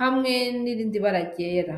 hamwe nirindibara ryera.